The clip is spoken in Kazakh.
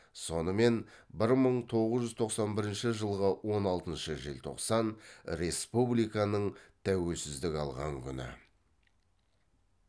сонымен бір мың тоғыз жүз тоқсан бірінші жылғы он алтыншы желтоқсан республиканың тәуелсіздік алған күні